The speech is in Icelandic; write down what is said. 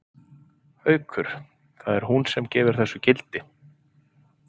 Haukur: Það er hún sem gefur þessu gildi?